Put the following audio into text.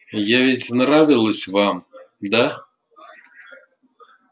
я ведь нравилась вам да